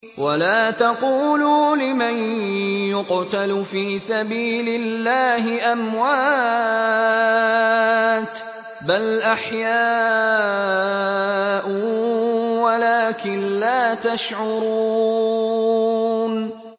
وَلَا تَقُولُوا لِمَن يُقْتَلُ فِي سَبِيلِ اللَّهِ أَمْوَاتٌ ۚ بَلْ أَحْيَاءٌ وَلَٰكِن لَّا تَشْعُرُونَ